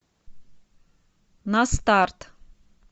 на старт